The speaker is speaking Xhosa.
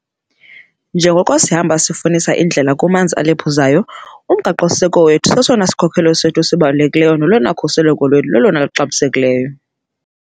Njengoko sihamba sifunisa indlela kumanzi alephuzayo, uMgaqo-siseko wethu sesona sikhokelo sethu sibalulekileyo nolona khuseleko lwethu lulolona luxabisekileyo.